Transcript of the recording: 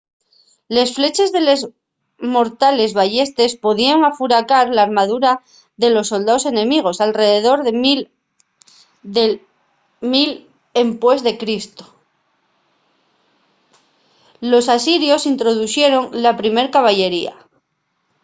les fleches de les mortales ballestes podíen afuracar l’armadura de los soldaos enemigos. alredor del 1000 e.c. los asirios introduxeron la primer caballería